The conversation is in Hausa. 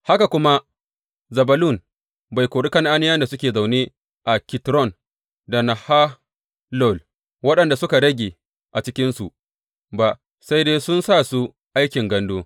Haka kuma Zebulun bai kori Kan’aniyawa da suke zaune a Kitron da Nahalol, waɗanda suka rage a cikinsu ba; sai dai sun sa su aikin gandu.